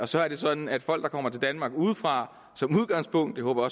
så er det sådan at folk der kommer til danmark udefra som udgangspunkt det håber